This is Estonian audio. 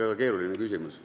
Väga keeruline küsimus.